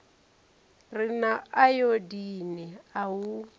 re na ayodini a u